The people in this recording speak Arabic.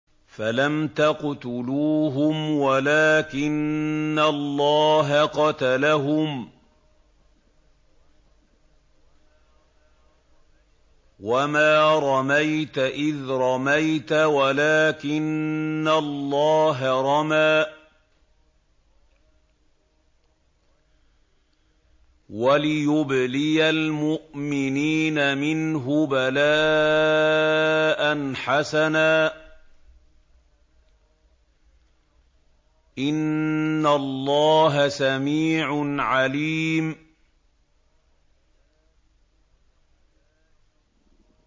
فَلَمْ تَقْتُلُوهُمْ وَلَٰكِنَّ اللَّهَ قَتَلَهُمْ ۚ وَمَا رَمَيْتَ إِذْ رَمَيْتَ وَلَٰكِنَّ اللَّهَ رَمَىٰ ۚ وَلِيُبْلِيَ الْمُؤْمِنِينَ مِنْهُ بَلَاءً حَسَنًا ۚ إِنَّ اللَّهَ سَمِيعٌ عَلِيمٌ